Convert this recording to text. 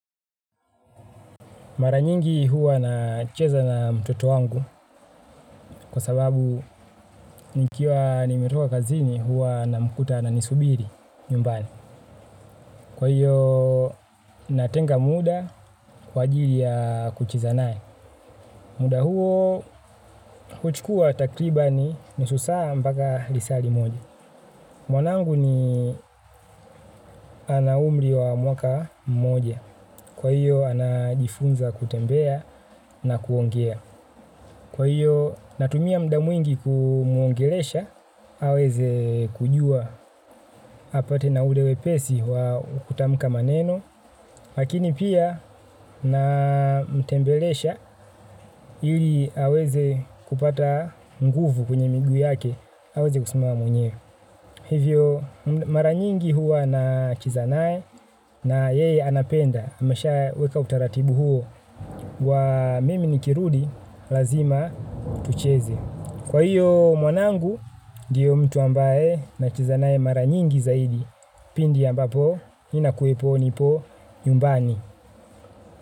Mara nyingi huwa nacheza na mtoto wangu kwa sababu nikiwa nimetoka kazini huwa na mkuta ananisubiri nyumbani. Kwa hiyo natenga muda kwa ajili ya kucheza naye. Muda huo huchukua takribani nusu saa mpaka lisaa limoja. Mwanangu ni ana umri wa mwaka mmoja. Kwa hiyo anajifunza kutembea na kuongea. Kwa hiyo natumia muda mwingi kumuongelesha, aweze kujua apate na ule wepesi wa kutamka maneno, lakini pia na mtembelesha ili aweze kupata nguvu kwenye miguu yake, aweze kusimama mwenye. Hivyo mara nyingi huwa nacheza naye na yeye anapenda, ameshaweka utaratibu huo wa mimi nikirudi lazima tucheze. Kwa hiyo mwanangu, ndiye mtu ambaye nacheza naye mara nyingi zaidi. Pindi ambapo, ninakuepo nipo nyumbani.